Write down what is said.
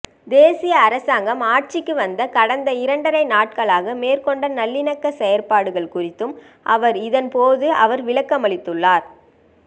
தேசிய அரசாங்கம் ஆட்சிக்கு வந்து கடந்த இரண்டரை நாட்களாக மேற்கொண்ட நல்லிணக்க செயற்பாடுகள் குறித்தும் அவர் இதன்போது அவர் விளக்கமளித்துள்ளார்